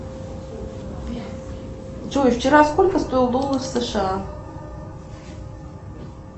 джой вчера сколько стоил доллар сша